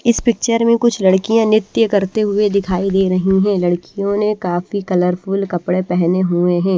इस पिक्चर में कुछ लड़कियां नृत्य करते हुए दिखाई दे रही हैं लड़कियों ने काफी कलरफुल कपड़े पहने हुए हैं।